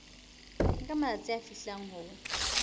nka matsatsi a fihlang ho